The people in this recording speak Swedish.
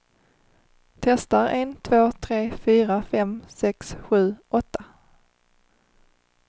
Testar en två tre fyra fem sex sju åtta.